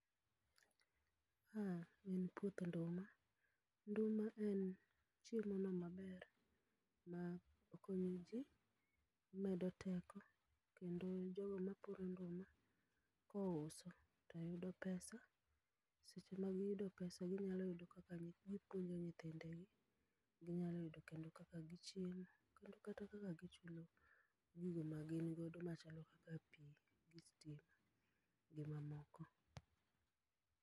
Ma en puoth nduma. Nduma en chiemono maber ma okonyojii medo teko kendo jogo mapuro nduma, kouso toyudo pesa seche magiyudo pesa ginyalo yudo kaka gipuonjo nyithindegi ginyalo yudo kendo kaka gichiemo kendo kata kaka gichulo gige magin godo machalo kaka pii gi stima, gi mamoko.